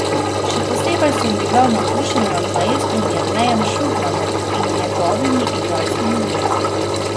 Še posebej sem bila navdušena nad maestrom Jernejem Šugmanom in njegovimi igralskimi vlogami.